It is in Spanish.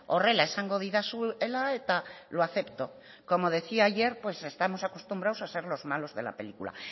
horrela esango didazuela eta lo acepto como decía ayer pues estamos acostumbrados a ser los malos de la película